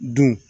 Dun